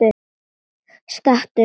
Stattu upp!